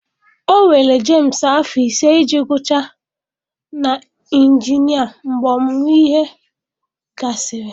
Ọ were Jemsị afọ ise iji gụchaa na injinia mgbe ọmụmụ ihe gasịrị.